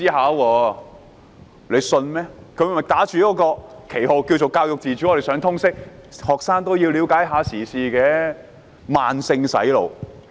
他們打着教育自主的旗號，在學校推行通識科，讓學生了解時事，這是慢性"洗腦"。